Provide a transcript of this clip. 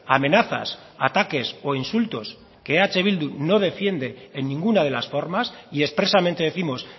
amenazas ataques o insultos que eh bildu no defiende en ninguna de las formas y expresamente décimos